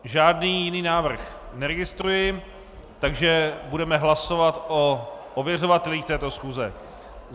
Žádný jiný návrh neregistruji, takže budeme hlasovat o ověřovatelích této schůze.